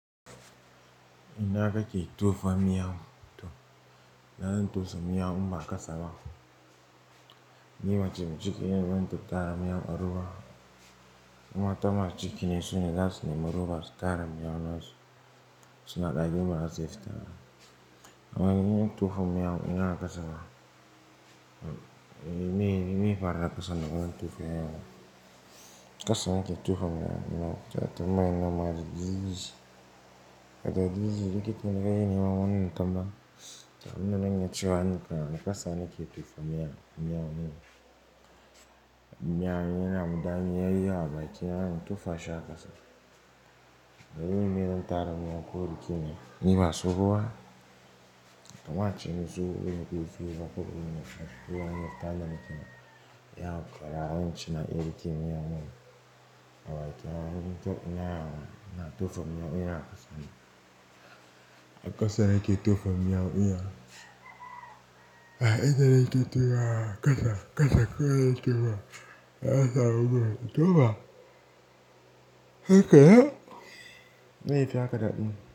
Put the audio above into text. Ina kake tofa miyaun to, ina zan tusa miyaun in ba kasaba. Ni mace mai cikine da zan tattara miyaun a roba. In mata mai cikine sune zasu nemi roba su tara miyaun nasu, suna da roba da suke fitawa. Amma in yi tufa miyaun, dina kasaba, ni mai fara kasa don tufa miyaun. Kasa nake tofa miyaun na, ta ta mana marar iziji. Ta da iziji, likita ne ka yi ni ma wannan tambaya. T abunda zan iya cewa nikan, a kasa nike tofa miyaun. Miyan yana damu, in yayi abakina sai in tofa shi a kasa. Dalilin mi zan tara miyaun, ko likita, niba tsoho ba. Ta ma ciye-ciye wurin dake fito, ko wurin da ake fito, ana fita ne cikin yawan ƙara wanci na ya likita miyaun. Awakaka, na tufa miyaun, dina a kasane Kasa nike tofa miyaun, dina. A, inda nike tofawa. Kasa, kasa, kawai nake tofa. A'a, sa gudu, tofa. Haka ya? Meye yaf haka dadi.